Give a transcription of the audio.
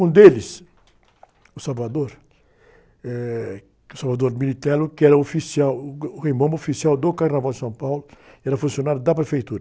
Um deles, o, eh, que o, que era o oficial, uh, o Rei Momo oficial do Carnaval de São Paulo, era funcionário da prefeitura.